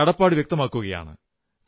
കടപ്പാട് വ്യക്തമാക്കുകയാണ്